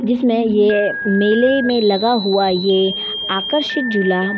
जिसमे ये मेले में लगा हुआ ये आकर्षक झूला --